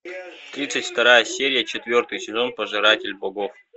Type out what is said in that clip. тридцать вторая серия четвертый сезон пожиратель богов